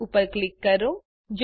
print ઉપર click કરો